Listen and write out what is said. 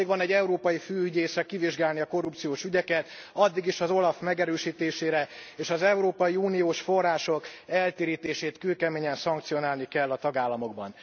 Szükség van egy európai főügyészre kivizsgálni a korrupciós ügyeket addig is az OLAF megerősítésére és az európai uniós források eltérítését kőkeményen szankcionálni kell a tagállamokban.